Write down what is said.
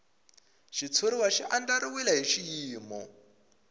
xitshuriwa xi andlariwile hi xiyimo